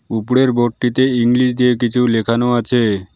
উপরের বোর্ড -টিতে ইংলিশ দিয়ে কিছু লেখানো আছে।